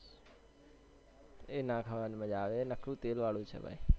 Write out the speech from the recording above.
એના ખાવાની મજ્જા આવે એ નકરું તેલ વાળું છે ભાઈ